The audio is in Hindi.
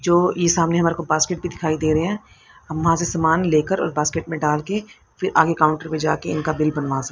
जो ई सामने हमारे को बास्केट भी दिखाई दे रहे हैं हम वहां से समान लेकर और बास्केट में डालके फिर आगे काउंटर पे जा के इनका बिल बनवा स--